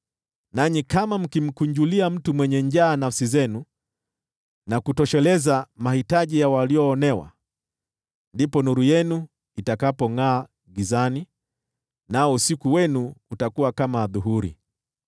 nanyi kama mkimkunjulia mtu mwenye njaa nafsi zenu na kutosheleza mahitaji ya walioonewa, ndipo nuru yenu itakapongʼaa gizani, nao usiku wenu utakuwa kama adhuhuri.